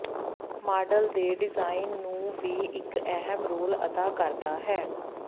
model ਦੇ design ਨੂੰ ਵੀ ਇੱਕ ਅਹਿਮ ਰੋਲ ਅਦਾ ਕਰਦਾ ਹੈ